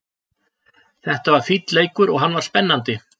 Þetta var fínn leikur og hann var spennandi.